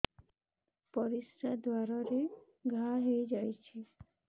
ପରିଶ୍ରା ଦ୍ୱାର ରେ ଘା ହେଇଯାଇଛି